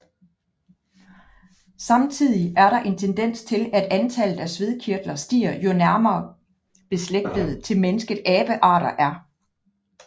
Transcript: Samtidig er der en tendens til at antallet af svedkirtler stiger jo nærmere beslægtede til mennesket abearter er